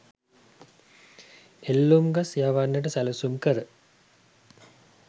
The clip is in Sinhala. එල්ලුම්ගස්‌ යවන්නට සැලසුම් කර